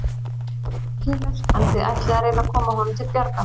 Magnús Hlynur: En þið ætlið að reyna að koma honum til bjargar?